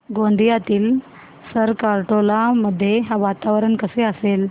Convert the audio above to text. गोंदियातील सरकारटोला मध्ये वातावरण कसे असेल